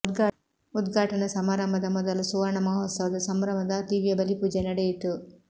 ಉದ್ಘಾಟನಾ ಸಮಾರಂಭದ ಮೊದಲು ಸುವರ್ಣ ಮಹೋತ್ಸವದ ಸಂಭ್ರಮದ ದಿವ್ಯ ಬಲಿಪೂಜೆ ನಡೆಯಿತು